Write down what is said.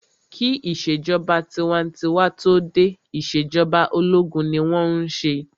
Kí ìṣèjọba tinwatinwa tó dé, ìṣèjọba ológun ni wọ́n n ṣe